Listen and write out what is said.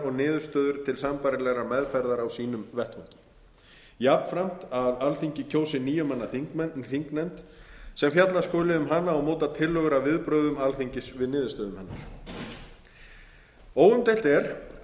og niðurstöður til sambærilegrar meðferðar á sínum vettvangi jafnframt að alþingi kjósi níu manna þingnefnd sem fjalla skuli um hana og móta tillögur að viðbrögðum alþingis við niðurstöðum hennar óumdeilt er